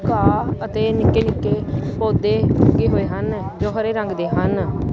ਘਾਹ ਅਤੇ ਨਿੱਕੇ ਨਿੱਕੇ ਪੌਦੇ ਲੱਗੇ ਹੋਏ ਹਨ ਜੋ ਹਰੇ ਰੰਗ ਦੇ ਹਨ।